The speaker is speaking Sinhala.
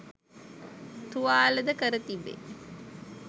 තුවාල ද කර තිබේ